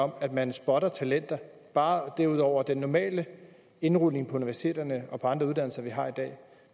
om at man spotter talenter bare det er ud over den normale indrullering på universiteterne og på andre uddannelser vi har i dag